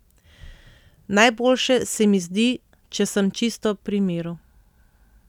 Najboljše se mi zdi, če sem čisto pri miru.